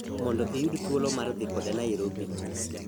mondo iyud thuolo mar dhi koda Nairobi